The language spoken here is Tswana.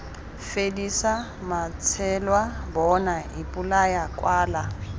fedisa matsheloa bona ipolaya kwala